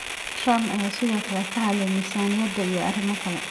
Trump ayaa sidoo kale ka hadlay miisaaniyadda iyo arrimo kale.